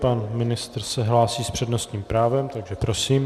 Pan ministr se hlásí s přednostním právem, takže prosím.